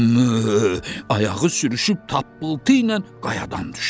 Ayağı sürüşüb tappıltı ilə qayadan düşdü.